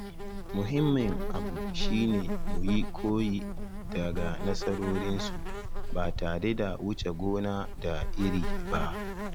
Muhimmin abu shi ne mu yi koyi daga nasarorinsu ba tare da wuce gona da iri ba.